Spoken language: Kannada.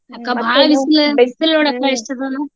ಅಕ್ಕ ಬಾಳ್ ಬಿಸಲ್ ನೋಡಕ್ಕ ಎಷ್ಟಾದವಲ್ಲ.